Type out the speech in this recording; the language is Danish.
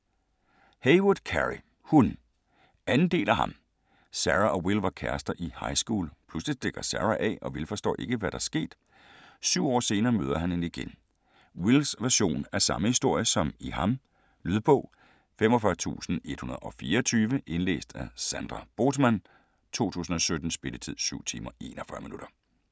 Heywood, Carey: Hun 2. del af Ham. Sarah og Will var kærester i highschool. Pludselig stikker Sarah af og Will forstår ikke, hvad der er sket. 7 år senere møder han hende igen. Wills version af samme historie som i "Ham". Lydbog 45124 Indlæst af Sandra Bothmann, 2017. Spilletid: 7 timer, 41 minutter.